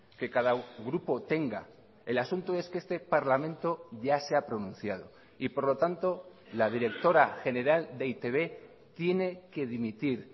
que cada grupo tenga el asunto es que este parlamento ya se ha pronunciado y por lo tanto la directora general de e i te be tiene que dimitir